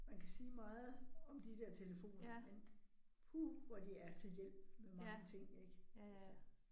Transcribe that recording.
Man kan sige meget om de der telefoner, men puh, hvor de er til hjælp med mange ting ik altså